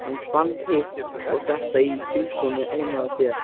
Hann fann hitt og þetta í bílskúrnum heima hjá þér.